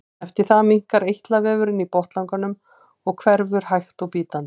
Eftir það minnkar eitlavefurinn í botnlanganum og hverfur hægt og bítandi.